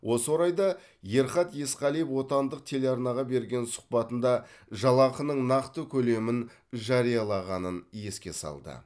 осы орайда ерхат есқалиев отандық телеарнаға берген сұқбатында жалақының нақты көлемін жариялағанын еске салды